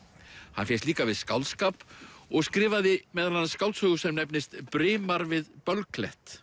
hann fékkst líka við skáldskap og skrifaði meðal annars skáldsögu sem nefnist Brimar við